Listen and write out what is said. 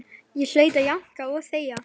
Ég hlaut að jánka og þegja.